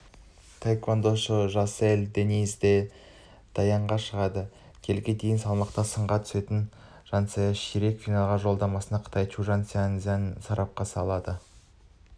таэквондошы жансель дениз де даянға шығады келіге дейінгі салмақта сынға түсетін жансель ширек финал жолдамасын қытай чжуан цзя-цзямен сарапқа салады